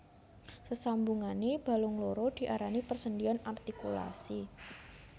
Sesambungane balung loro diarani persendhian artikulasi